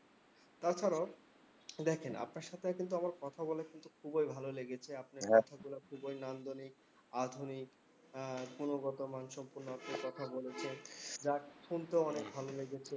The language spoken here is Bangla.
তাছাড়াও দেখেন, আপনার সাথেও কিন্তু আমার কথা বলে কিন্তু খুবই ভালো লেগেছে। আপনার কথাগুলো খুবই নান্দনিক, আধুনিক। গুণগত মানসম্পন্ন আপনি কথা বলেছেন। যাক শুনতেও অনেক ভালো লেগেছে।